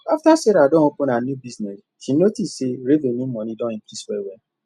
after sarah don open her new bussiness she notice say revenue money don increase well wel